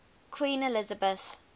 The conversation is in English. queen elizabeth